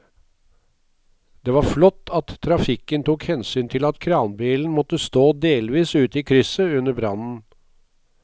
Det var flott at trafikken tok hensyn til at kranbilen måtte stå delvis ute i krysset under brannen.